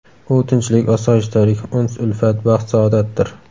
U tinchlik, osoyishtalik, uns-ulfat, baxt-saodatdir.